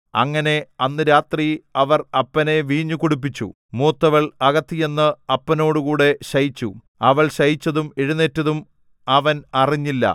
അങ്ങനെ അന്ന് രാത്രി അവർ അപ്പനെ വീഞ്ഞു കുടിപ്പിച്ചു മൂത്തവൾ അകത്ത് ചെന്ന് അപ്പനോടുകൂടെ ശയിച്ചു അവൾ ശയിച്ചതും എഴുന്നേറ്റതും അവൻ അറിഞ്ഞില്ല